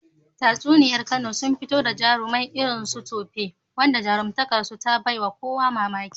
Tatsuniyar Kano sun fito da jarumai irin su Tope, wanda jarumtakar su ta bai wa kowa mamaki.